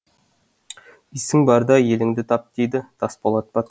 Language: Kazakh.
есің барда еліңді тап дейді тасболат батыр